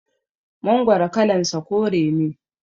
Mangoro kalan sa kore ne